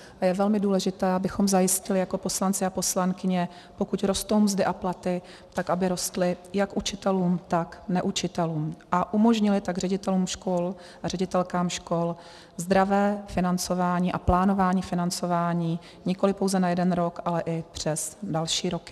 A je velmi důležité, abychom zajistili jako poslanci a poslankyně, pokud rostou mzdy a platy, tak aby rostly jak učitelům, tak neučitelům, a umožnili tak ředitelům škol a ředitelkám škol zdravé financování a plánování financování nikoliv pouze na jeden rok, ale i přes další roky.